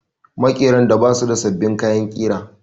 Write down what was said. Maƙeran da ba su da sabbin kayan ƙira